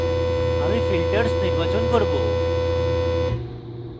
আমি filters নির্বাচন করব